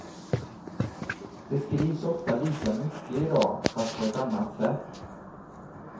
Det skrivs ofta lika mycket idag, fast på ett annat sätt.